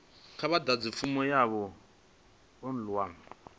kha vha ḓadze fomo yavho online